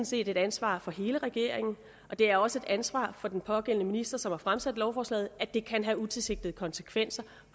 set et ansvar for hele regeringen det er også et ansvar for den pågældende minister som har fremsat lovforslaget at det kan have utilsigtede konsekvenser